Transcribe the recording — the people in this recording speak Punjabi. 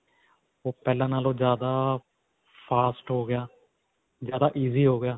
ਓਹ ਪਹਿਲਾਂ ਨਾਲੋਂ ਜਿਆਦਾ ਫਾਸਟ ਹੋ ਗਿਆ, ਜਿਆਦਾ easy ਹੋ ਗਿਆ.